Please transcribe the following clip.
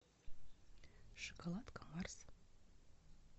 шоколадка марс